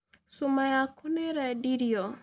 Cuma yaku nĩ ĩrendirio.